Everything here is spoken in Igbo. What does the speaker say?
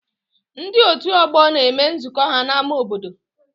Ndị otu ọgbọ na-eme nzukọ ha n'ámá obodo